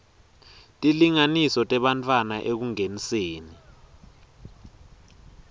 tilinganiso tebantfwana ekungeniseni